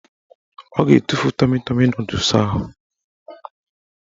Ọ ga-etufu tọmi tọmi nọdụs ahụ